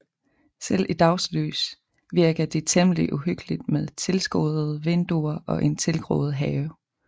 Selv i dagslys virker det temmelig uhyggeligt med tilskoddede vinduer og en tilgroet have